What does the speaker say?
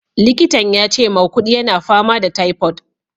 Likitan yace maukudi yana fama da typhoid.